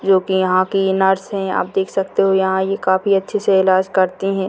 जो कि यहां की इ नर्स है जो कि आप देख सकते हो यहां ये काफी अच्छे से इलाज करते है।